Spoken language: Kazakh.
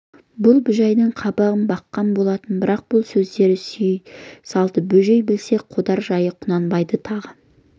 бұл бөжейдің қабағын баққан болатын бірақ бұл сөздері сүйей салды бөжей білсе қодар жайы құнанбайдың тағы